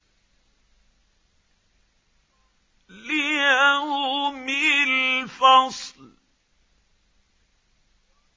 لِيَوْمِ الْفَصْلِ